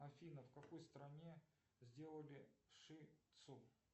афина в какой стране сделали ши тцу